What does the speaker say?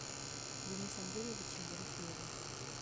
денисом юрьевичем ерофеевым